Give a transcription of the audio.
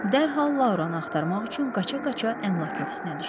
Dərhal Lauranı axtarmaq üçün qaça-qaça əmlak ofisinə düşdüm.